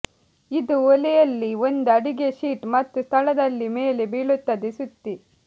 ಇದು ಒಲೆಯಲ್ಲಿ ಒಂದು ಅಡಿಗೆ ಶೀಟ್ ಮತ್ತು ಸ್ಥಳದಲ್ಲಿ ಮೇಲೆ ಬೀಳುತ್ತದೆ ಸುತ್ತಿ